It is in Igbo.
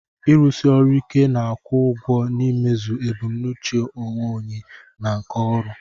Ịrụsi ọrụ ike na-akwụ ụgwọ n'imezu ebumnuche onwe onye na nke ọrụ.